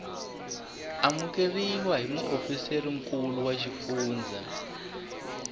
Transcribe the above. amukeriwa hi muofisirinkulu wa xifundzha